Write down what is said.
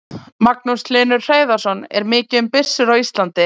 Magnús Hlynur Hreiðarsson: Er mikið um byssur á Íslandi?